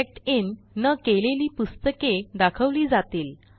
checked in न केलेली पुस्तके दाखवली जातील